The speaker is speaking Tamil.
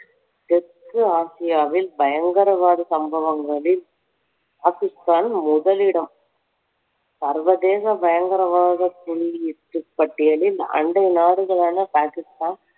தெற்கு ஆசியாவில் பயங்கரவாத சம்பவங்களில் பாகிஸ்தான் முதலிடம் சர்வதேச பயங்கரவாத புள்ளி பட்டியலில் அண்டை நாடுகளான பாகிஸ்தான்